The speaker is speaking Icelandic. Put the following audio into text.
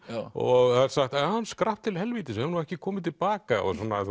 og það er sagt hann skrapp til helvítis og er ekki kominn til baka